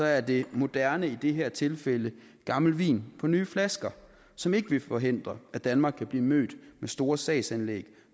er det moderne i det her tilfælde gammel vin på nye flasker som ikke vil forhindre at danmark kan blive mødt med store sagsanlæg